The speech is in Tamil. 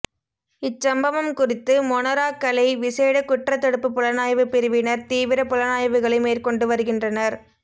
இச்சம்பவம் குறித்து மொனராகலை விசேட குற்றத் தடுப்பு புலனாய்வு பிரிவினர் தீவிர புலனாய்வுகளை மேற்கொண்டு வருகின்றனர்